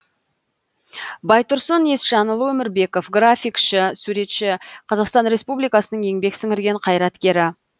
байтұрсын есжанұлы өмірбеков графикашы суретші қазақстан республикасының еңбек сіңірген қайраткері